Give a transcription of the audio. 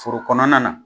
Foro kɔnɔna na